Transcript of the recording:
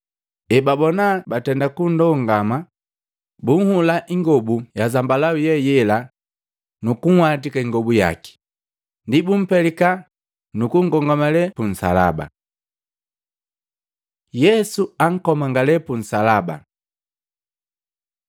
Ebaboka batenda kundongama, buhulaa ingobu ya zambalau ye yela, nukunhwatika ingobu yake, ndi bumpelika nukunkomangale punsalaba. Yesu akomangale punsalaba Matei 27:32-44; Luka 23:26-43; Yohana 19:17-27